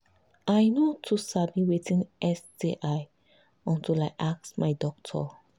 i no too sabi watin sti until i ask my doctor